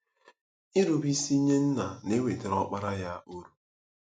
Nrubeisi nye Nna na-ewetara Ọkpara ya uru.